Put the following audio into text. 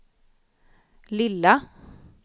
lilla